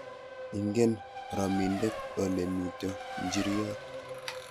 ingen rominde ole mito nchiriot